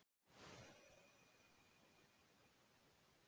En hvers vegna storkna hraunin ekki á svo langri leið?